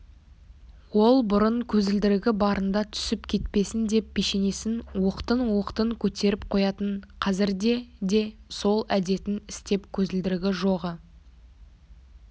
ол бұрын көзілдірігі барында түсіп кетпесін деп пешенесін оқтын-оқтын көтеріп қоятын қазірде де сол әдетін істеп көзілдірігі жоғы